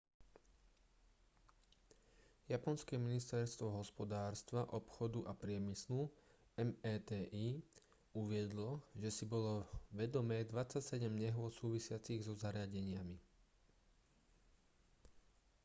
japonské ministerstvo hospodárstva obchodu a priemyslu meti uviedlo že si bolo vedomé 27 nehôd súvisiacich so zariadeniami